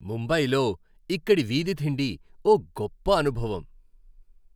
ముంబయిలో ఇక్కడి వీధి తిండి ఓ గొప్ప అనుభవం.